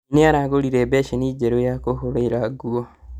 Mami nĩaragũrire mbeceni njerũ ya kũhũrĩra nguo